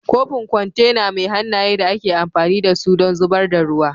kofin kwantena mai hannaye da ake amfani da su don zubar da ruwa